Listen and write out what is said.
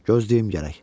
Gözləyim gərək.